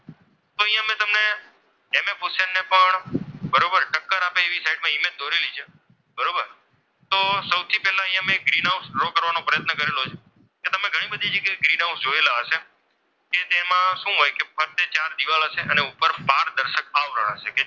દોરેલી છે બરોબર તો સૌથી પહેલા અહીંયા મેં ગ્રીનહાઉસ ડ્રો draw કરવાનો પ્રયત્ન કરેલો છે. કે તમે ઘણી બધી જગ્યાએ ગ્રીનહાઉસ જોયેલા હશે કે તેમાં શું હોય ફરતે ચાર દીવાલ હશે અને ઉપર પારદર્શક આવરણ હશે.